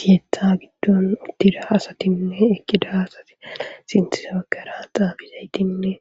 keetha giddon uttida asatinne ekkida asati sintise bagara xaafishaydinne